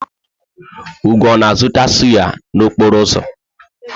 Ugo na-azụta sụ́yá n'okporo ụzọ?